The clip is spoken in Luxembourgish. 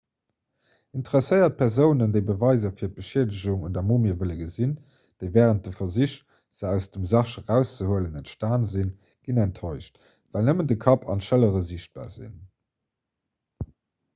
interesséiert persounen déi beweiser fir d'beschiedegung un der mumie wëlle gesinn déi wärend de versich se aus dem sarg erauszehuelen entstan sinn ginn enttäuscht well nëmmen de kapp an d'schëllere sichtbar sinn